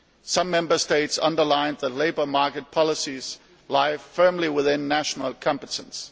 Some Member States underlined that the labour market policies lie firmly within national competence.